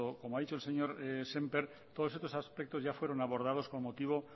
cuanto como ha dicho el señor semper todos estos aspectos ya fueron abordados con motivo